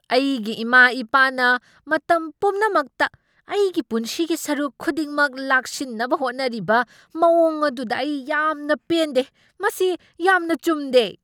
ꯑꯩꯒꯤ ꯏꯃꯥ ꯏꯄꯥꯅ ꯃꯇꯝ ꯄꯨꯝꯅꯃꯛꯇ ꯑꯩꯒꯤ ꯄꯨꯟꯁꯤꯒꯤ ꯁꯔꯨꯛ ꯈꯨꯗꯤꯡꯃꯛ ꯂꯥꯛꯁꯤꯟꯅꯕ ꯍꯣꯠꯅꯔꯤꯕ ꯃꯑꯣꯡ ꯑꯗꯨꯗ ꯑꯩ ꯌꯥꯝꯅ ꯄꯦꯟꯗꯦ꯫ ꯃꯁꯤ ꯌꯥꯝꯅ ꯆꯨꯝꯗꯦ꯫